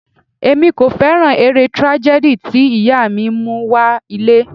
Èmi kò fẹ́ràn eré tragedy tí ìyá mi mú wá ilé.